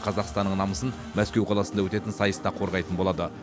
қазақстанның намысын мәскеу қаласында өтетін сайыста қорғайтын болады